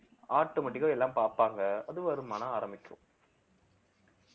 automatic ஆ எல்லாம் பார்ப்பாங்க அது வருமானம் ஆரம்பிக்கும்